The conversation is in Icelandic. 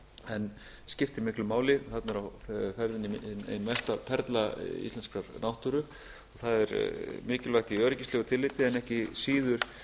en skiptir miklu máli þarna er á ferðinni ein mesta perla íslenskrar náttúru og það er mikilvægt í öryggislegu tilliti en ekki síður